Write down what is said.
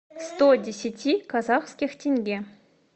сто десяти казахских тенге